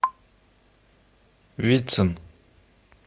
вицин